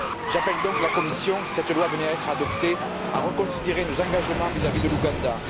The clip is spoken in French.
J'appelle donc la Commission, si cette loi venait à être adoptée, à reconsidérer nos engagement vis à vis de l'Ouganda.